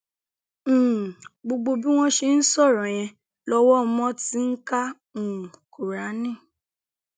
um gbogbo bí wọn ṣe ń sọrọ yẹn lọwọ mo ti ń ka um kúráánì